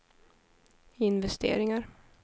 investeringar